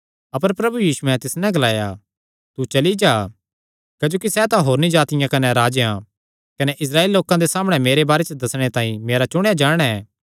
अपर प्रभु यीशुयैं तिस नैं ग्लाया तू चली जा क्जोकि सैह़ तां होरनी जातिआं कने राजेयां कने इस्राएली लोकां दे सामणै मेरे बारे च दस्सणे तांई मेरा चुणेया जन ऐ